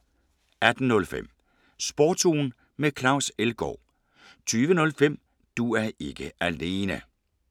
18:05: Sportsugen med Claus Elgaard 20:05: Du er ikke alene